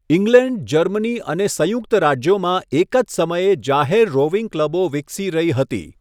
England, Germany અને સંયુક્ત રાજ્યોમાં એક જ સમયે જાહેર રોવિંગ ક્લબો વિકસી રહી હતી.